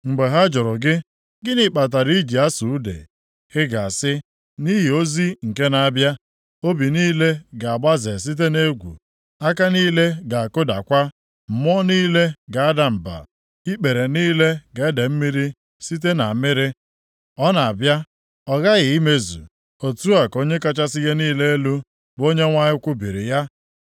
Mgbe ha jụrụ gị, ‘Gịnị kpatara i ji asụ ude?’ Ị ga-asị, ‘Nʼihi ozi nke na-abịa. Obi niile ga-agbaze site nʼegwu, aka niile ga-akụdakwa; mmụọ niile ga-ada mba, + 21:7 Maọbụ, ike ga-agwụ mmụọ niile ikpere niile ga-ede mmiri site nʼamịrị.’ Ọ na-abịa, ọ ghaghị imezu, otu a ka Onye kachasị ihe niile elu, bụ Onyenwe anyị kwubiri ya.”